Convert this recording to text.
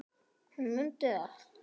Hún mundi allt.